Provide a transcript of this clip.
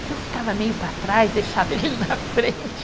Então eu ficava meio para trás, deixava ele na frente.